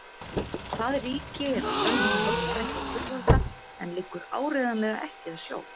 Það ríki er að sönnu sjálfstætt og fullvalda en liggur áreiðanlega ekki að sjó.